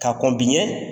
Ka kɔn biɲɛ